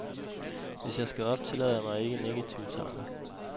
Hvis jeg skal op, tillader jeg mig ikke negative tanker.